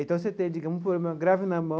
Então, você tem, digamos, um problema grave na mão,